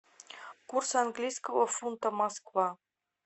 курс английского фунта москва